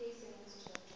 šea o ka se mo